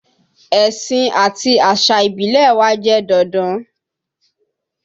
Ẹ̀sìn àti àṣà ìbílẹ̀ wa jẹ́ dandan